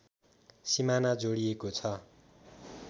सिमाना जोडिएको छ